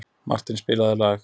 Martin, spilaðu lag.